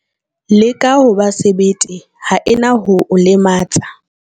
Leka ho ba sebete, ha e na ho o lematsa.